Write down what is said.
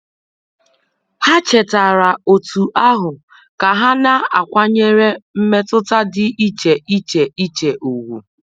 Ha chetaara otu ahụ ka ha na-akwanyere mmetụta dị iche iche iche ùgwù.